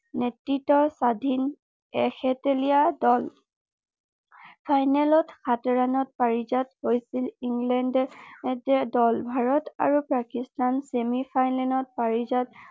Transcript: নেতৃ্ত্বৰ স্বাধীন ফাইনেলত সাত ৰাণত পাৰিজাত হৈছিল ইংলেণ্ড দল ভাৰত আৰু পাকিস্তান চেমি ফাইনেলত পাৰিজাত